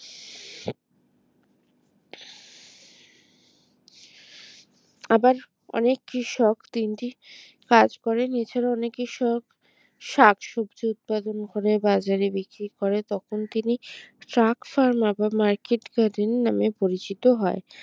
আবার অনেক কৃষক তিনটি কাজ করেন এছাড়া অনেক কৃষক শাকসবজি উৎপাদন করে বাজারে বিক্রি করে তখন তিনি শাক pharma বা মার্কিট গার্ডেন নামে পরিচিত হয়